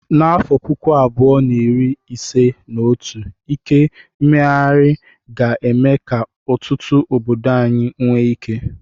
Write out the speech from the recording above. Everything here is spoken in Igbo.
N'afọ puku abuo na iri ise na otu, ike mmeghari ga-eme ka ọtụtụ obodo anyị nwee ike.